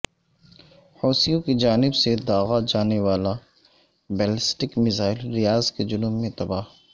حوثیوں کی جانب سے داغا جانے والا بیلسٹک میزائل ریاض کے جنوب میں تباہ